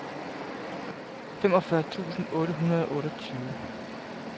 femogfyrre tusind otte hundrede og otteogtyve